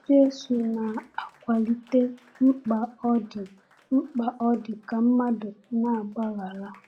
Jésù na-akwalite mkpa ọ dị mkpa ọ dị ka mmadụ na-agbaghara.